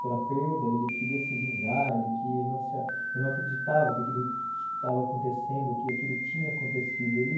Pela perda, ele queria se vingar, ele que não se a ele não acreditava que aquilo estava acontecendo, que aquilo tinha acontecido. Ele